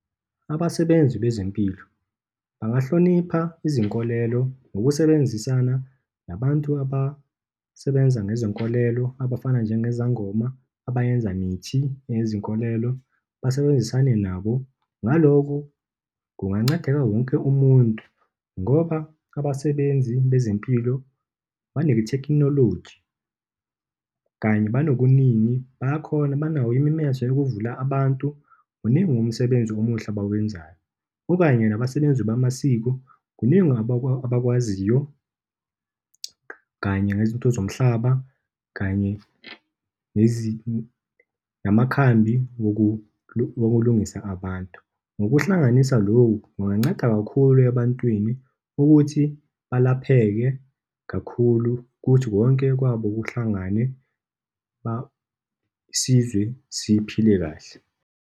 Abasebenzi bezempilo bangahlonipha izinkolelo ngokusebenzisana nabantu abasebenza ngezinkolelo, abafana njengezangoma, abayenza mithi nezinkolelo, basebenzisane nabo. Ngaloko, kungancedeka wonke umuntu, ngoba abasebenzi bezempilo banethekhinoloji, kanye banokuningi, bayakhona, banawo imemeze ukuvula abantu. Muningi umsebenzi omuhle abawenzayo. Kukaanye nabasebenzi bamasiko, kuningi abakwaziyo kanye nezinto zomhlaba kanye namakhambi okulungisa abantu. Ngokuhlanganisa lokhu, kunganceda kakhulu ebantwini, ukuthi balapheke kakhulu kuthi konke kwabo kuhlangane, isizwe siphile kahle.